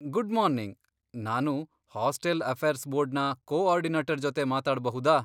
Good morning, ನಾನು hostel affairs ಬೋರ್ಡ್ನ coordinator ಜೊತೆ ಮಾತಾಡ್ಬಹುದಾ?